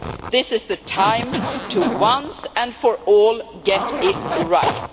This is the time to once and for all get it right.